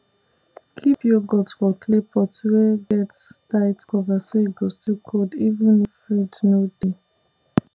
keep yoghurt for clay pot wey get tight cover so e go still cold even if fridge no dey